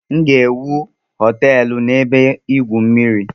M ga-ewu nwere họteelụ na ebe igwu mmiri